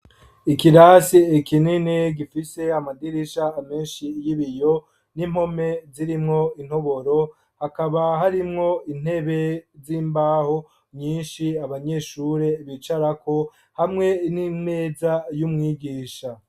Ikirasi kinini gifise amadirisha menshi y'ibiyo n'impome zirimwo intoboro hakaba harimwo intebe z'imbaho nyinshi abanyeshure bicarako hamwe n'imeza y'umwigisha.